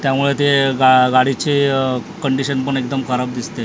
त्या त्यामुळे ते गं गाडीचे कन्डिशन पण एकदम खराब दिसते .